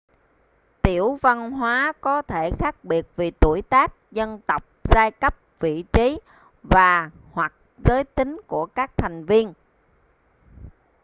tiểu văn hóa có thể khác biệt vì tuổi tác dân tộc giai cấp vị trí và/hoặc giới tính của các thành viên